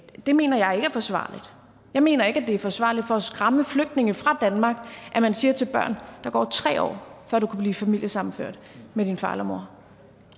det mener jeg ikke er forsvarligt jeg mener ikke det er forsvarligt for at skræmme flygtninge fra danmark at man siger til børn at der går tre år før du kan blive familiesammenført med din far eller mor